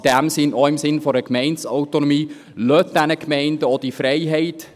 Auch in diesem Sinn, im Sinne der Gemeindeautonomie: Lassen Sie diesen Gemeinden diese Freiheit.